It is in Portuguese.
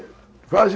Quase...